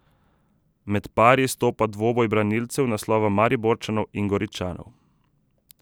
Med pari izstopa dvoboj branilcev naslova Mariborčanov in Goričanov.